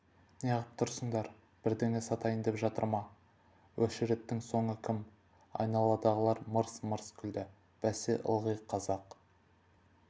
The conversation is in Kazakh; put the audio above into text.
неғып тұрсыңдар бірдеңе сатайын деп жатыр ма өшіреттің соңы кім айналадағылар мырс-мырс күлді бәсе ылғи қазақ